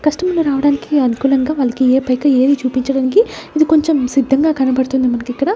కస్టమర్లు రావడానికి అనుకూలంగా వాళ్లకి ఏ పైక ఏది చూపించడానికి ఇది కొంచెం సిద్ధంగా కనబడుతుంది మనకి ఇక్కడ--